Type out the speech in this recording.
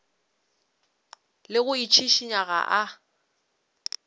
le go itšhišinya ga a